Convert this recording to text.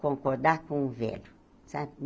Concordar com o velho, sabe?